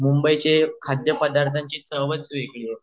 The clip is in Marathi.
मुंबईचे खाद्य पदार्थांची चवंच वेगळी